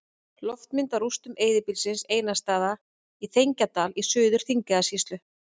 Loftmynd af rústum eyðibýlisins Einarsstaða í Þegjandadal í Suður-Þingeyjarsýslu.